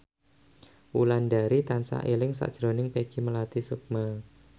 Wulandari tansah eling sakjroning Peggy Melati Sukma